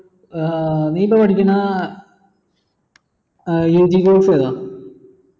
ഏർ net ഇപ്പൊ പഠിക്കുന്ന ഏർ UG Course ഏതാ